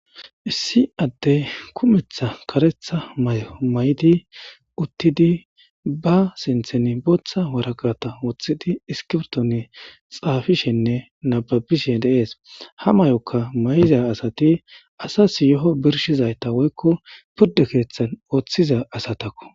Issi addeyi kutha karetha mayo mayidi utidi ba sintheni botha wariqata wothidi isikibirito oyikidi xafishen nababishe deyesi. Ha mayoka mayiza asati asasi yeho birishida woyiko piride kethani uthiza asatako.